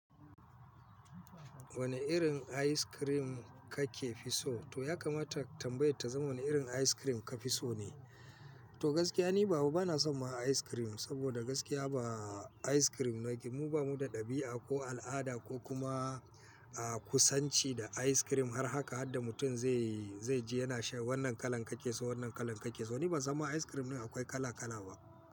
Wane irin ice cream kake fi so? To ya kamata tambayar ta zama wane irin ice cream ka fi so ne? To gaskiya ni baba bana son ma ice cream, saboda gaskiya ba ice cream naki mu bamu da ɗabi'a ko al'ada ko kuma, ah, kusanci da ice cream har haka har da mutum zai, zai ji yana shan wannan kalan kake so wannan kalan kake so. Ni ban san ma ice cream din akwai kala kala ba.